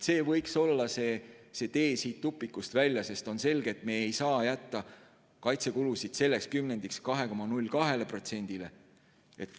See võiks olla tee siit tupikust välja, sest on selge, et me ei saa jätta kaitsekulusid selleks kümnendiks 2,02%-le.